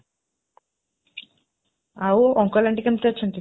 ଆଉ, uncle aunty କେମିତି ଅଛନ୍ତି?